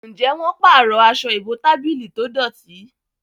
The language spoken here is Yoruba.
Njé wón parọ Aṣọ ìbotábílì tó dọti?